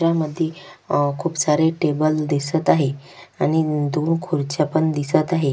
चित्रामध्ये खुप सारे टेबल दिसत आहे आणि दोन खुर्च्या पण दिसत आहे.